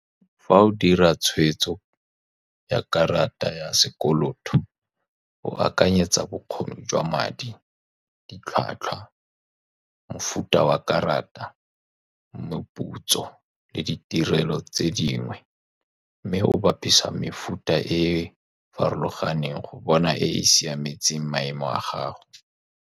Fa o dira tshweetso ya karata ya sekoloto, o akanyetsa bokgoni jwa madi, ditlhwatlhwa, mofuta wa karata, meputso le ditirelo tse dingwe, mme o bapisa mefuta e e farologaneng go bona e e siametseng maemo a gago.